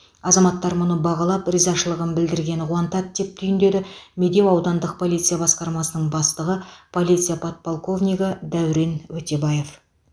азаматтар мұны бағалап ризашылығын білдіргені қуантады деп түйіндеді медеу аудандық полиция басқармасының бастығы полиция подполковнигі дәурен өтебаев